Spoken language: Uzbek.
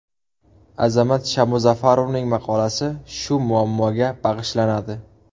Azamat Shamuzafarovning maqolasi shu muammoga bag‘ishlanadi.